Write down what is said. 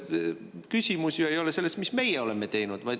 Küsimus ju ei ole selles, mida meie oleme teinud.